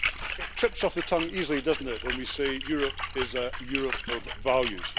It trips off the tongue easily, doesn't it, when we say that Europe is a Europe of values.